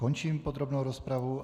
Končím podrobnou rozpravu.